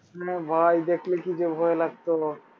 হ্যাঁ ভাই দেখলে কি যে ভয় লাগতো